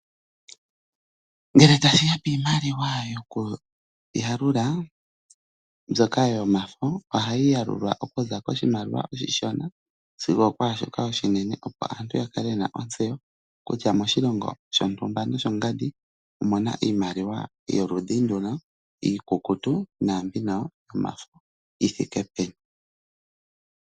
Ngele tashiya piimaliwa yokuyalula mbyoka yomafo ohayi yalulwa okuza koshimaliwa oshishona sigo ookwaashoka oshinene , opo aantu yakale yena ontseyo kutya moshilongo shontumba noshongandi omuna iimaliwa yoludhi nduno, iikukutu naambino yomafo yithike peni.